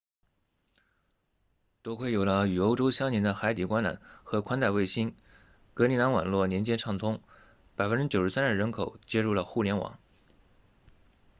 多亏有了与欧洲相连的海底光缆和宽带卫星格陵兰网络连接畅通 93% 的人口接入了互联网